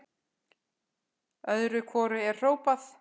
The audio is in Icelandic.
Öðru hvoru er hrópað.